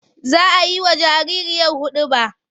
Za a yi wa jariri hiɗuba.